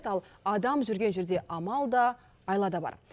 ал адам жүрген жерде амал да айла да бар